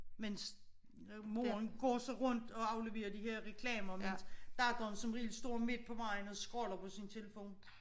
Mens moren går så rundt og afleverer de her reklamer mens datteren som regel står midt på vejen og scroller på sin telefon